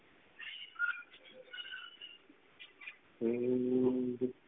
હમ